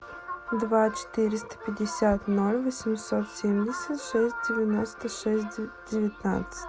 два четыреста пятьдесят ноль восемьсот семьдесят шесть девяносто шесть девятнадцать